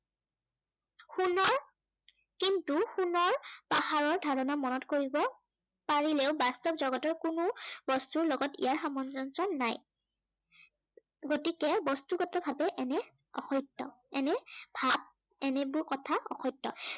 তাত পাহাৰৰ ধাৰনা মনত কৰিব পাৰিলেও বাস্তৱ জগতৰ কোনো বস্তুৰ লগত ইয়াৰ সামঞ্জস্য় নাই। গতিকে বস্তুগত ভাৱে এনে অসত্য়, এনে ভাৱ এনেবোৰ কথা অসত্য়।